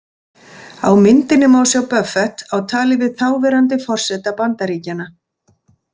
Á myndinni má sjá Buffett á tali við þáverandi forseta Bandaríkjanna.